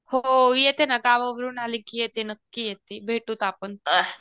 हो येते ना गावावरून आले की येते नक्की येते भेटूत आपण